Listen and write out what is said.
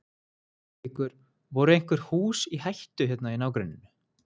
Haukur: Voru einhver hús í hættu hérna í nágrenninu?